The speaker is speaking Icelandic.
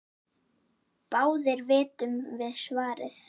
Báðir vitum við svarið